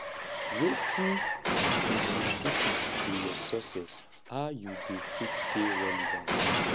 wetin be di secret to your success how you dey take stay relevant